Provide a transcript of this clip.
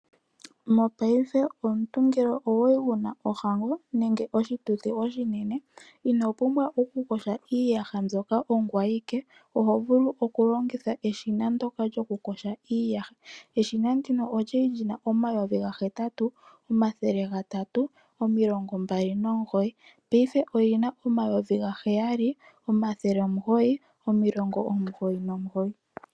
Mopaife omuntu ngele okwali wuna ohango nenge oshituthi oshinene ino pumbwa okukosha iiyaha mbyoka ongoye awike oho vulu okulongitha eshina ndoka lyokukosha iiyaha eshina ndino olyali lina N$83029 paife olina N$79099.